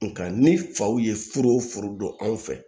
Nga ni faw ye foro o foro don anw fɛ